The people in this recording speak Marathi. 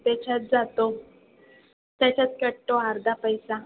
त्याच्यात जातो. त्याच्यात कटतो अर्धा पैसा.